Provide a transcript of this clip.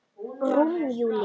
Rúm Júlíu.